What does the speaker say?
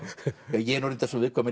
ég er nú reyndar svo viðkvæmur